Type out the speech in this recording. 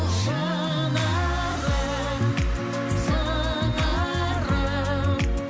шынарым сыңарым